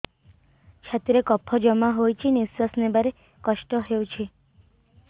ଛାତିରେ କଫ ଜମା ହୋଇଛି ନିଶ୍ୱାସ ନେବାରେ କଷ୍ଟ ହେଉଛି